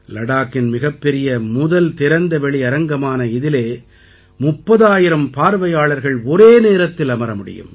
லடாக்கின் மிகப்பெரிய முதல் திறந்தவெளி அரங்கமான இதிலே 30000 பார்வையாளர்கள் ஒரே நேரத்தில் அமர முடியும்